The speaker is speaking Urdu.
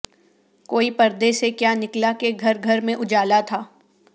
کوئی پردے سے کیا نکلا کہ گھر گھر میں اجالا تھا